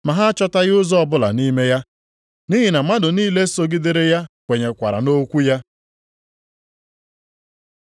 Ma ha achọtaghị ụzọ ọbụla ime ya, nʼihi na mmadụ niile sogidere ya kwenyekwara nʼokwu ya.